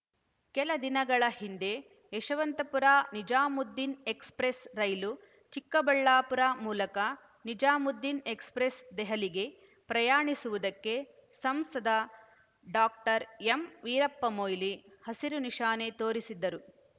ಕೆಲ ದಿನಗಳ ಹಿಂದೆ ಯಶವಂತಪುರ ನಿಜಾಮುದ್ದೀನ್ ಎಕ್ಸ್‌ಪ್ರೆಸ್ ರೈಲು ಚಿಕ್ಕಬಳ್ಳಾಪುರ ಮೂಲಕ ನಿಜಾಮುದ್ದೀನ್ ಎಕ್ಸ್‌ಪ್ರೆಸ್ ದೆಹಲಿಗೆ ಪ್ರಯಾಣಿಸುವುದಕ್ಕೆ ಸಂಸದ ಡಾಕ್ಟರ್ ಎಂವೀರಪ್ಪ ಮೊಯ್ಲಿ ಹಸಿರು ನಿಶಾನೆ ತೋರಿಸಿದರು